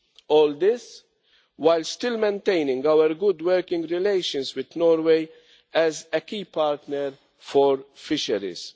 All this while still maintaining our good working relations with Norway as a key partner for fisheries.